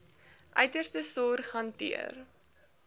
uiterste sorg hanteer